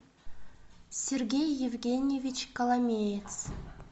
сергей евгеньевич коломеец